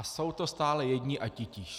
A jsou to stále jedni a titíž.